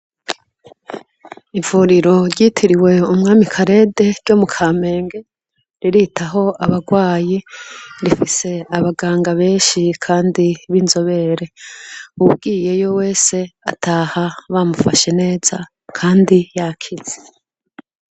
Ivuriro ryitiriwe umwami Karede ryo mu Kamenge riritaho abarwayi, rifise abaganga benshi kandi b'inzobere, uwugiyeyo wese ataha bamufashe neza kandi yakize.